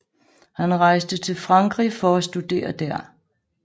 Han rejste til frankrig for at studere der